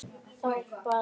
Þá bar